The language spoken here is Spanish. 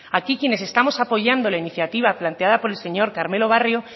aquí quienes estamos apoyando la iniciativa planteada por el señor carmelo barrio